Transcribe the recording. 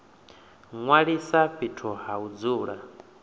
ṅwalisa fhethu ha u dzula